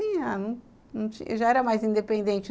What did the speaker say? já era mais independente.